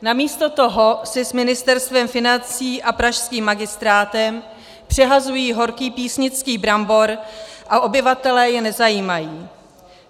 Namísto toho si s Ministerstvem financí a pražským magistrátem přehazují horký písnický brambor a obyvatelé je nezajímají.